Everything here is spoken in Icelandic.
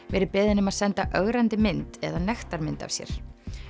verið beðinn um að senda ögrandi mynd eða nektarmynd af sér